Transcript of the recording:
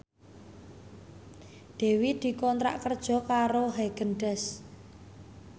Dewi dikontrak kerja karo Haagen Daazs